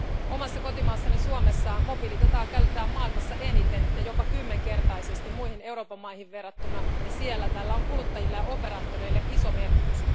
Omassa kotimaassani Suomessa mobiilidataa käytetään maailmassa eniten ja jopa kymmenkertaisesti muihin Euroopan maihin verrattuna, ja siellä tällä on kuluttajille ja operaattoreille iso merkitys.